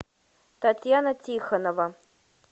татьяна тихонова